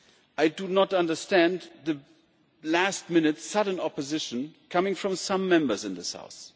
I do not understand the last minute sudden opposition coming from some Members in this House.